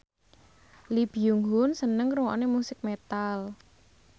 Lee Byung Hun seneng ngrungokne musik metal